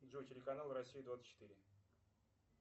джой телеканал россия двадцать четыре